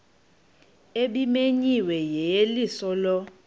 ebimenyiwe yeyeliso lo